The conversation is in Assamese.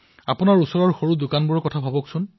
আপোনাৰ ওচৰত থকা সৰু গেলামালৰ দোকানখনৰ কথা ভাবক